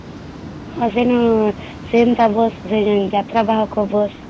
ହଁ ସେଇନୁ ସେନ୍ତା Busହମ୍ ଯାତ୍ରା ବାହାକ Bus